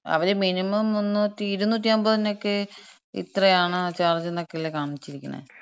അവര് മിനിമം മുന്നൂറ്റി 250-ന് ഒക്കെ ഇത്രയാണോ ചാർജ് എന്നൊക്കെല്ലേ കാണിച്ചിരിക്കുന്നേ.